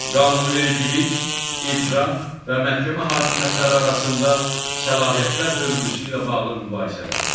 qanunvericilik, icra və məhkəmə hakimiyyətləri arasında səlahiyyətlər bölgüsü ilə bağlı mübahisələr.